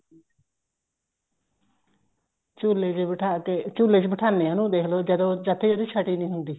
ਝੁੱਲੇ ਚ ਬਿਠਾ ਕੇ ਝੁੱਲੇ ਚ ਬਿਠਾਨੇ ਆ ਦੇਖਲੋ ਉਹਨੂੰ ਜਦ ਤੱਕ ਉਹਦੀ ਛੱਟੀ ਨੀ ਹੁੰਦੀ